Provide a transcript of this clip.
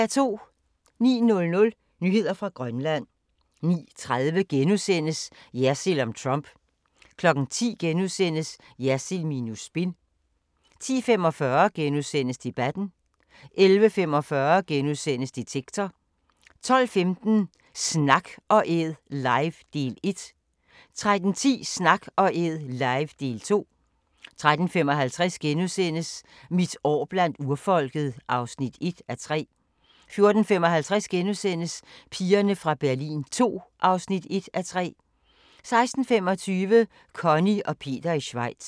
09:00: Nyheder fra Grønland 09:30: Jersild om Trump * 10:00: Jersild minus spin * 10:45: Debatten * 11:45: Detektor * 12:15: Snak & Æd live - del 1 13:10: Snak & Æd live – del 2 13:55: Mit år blandt urfolket (1:3)* 14:55: Pigerne fra Berlin II (1:3)* 16:25: Conny og Peter i Schweiz